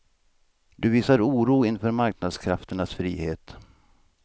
Du visar oro inför marknadskrafternas frihet.